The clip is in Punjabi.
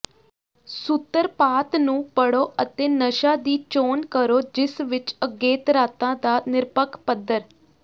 ਸੂਤਰਪਾਤ ਨੂੰ ਪੜੋ ਅਤੇ ਨਸ਼ਾ ਦੀ ਚੋਣ ਕਰੋ ਜਿਸ ਵਿੱਚ ਅਗੇਤਰਾਤਾ ਦਾ ਨਿਰਪੱਖ ਪੱਧਰ